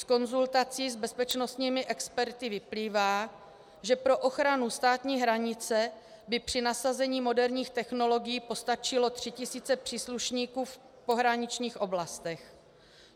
Z konzultací s bezpečnostními experty vyplývá, že pro ochranu státní hranice by při nasazení moderních technologií postačily 3 tisíce příslušníků v pohraničních oblastech.